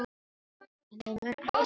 En þau munu öll sakna hennar.